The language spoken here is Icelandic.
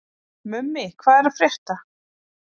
Mummi, hvað er að frétta?